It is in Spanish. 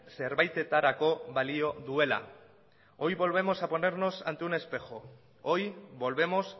zerbaitetarako balio duela hoy volvemos a ponernos ante un espejo hoy volvemos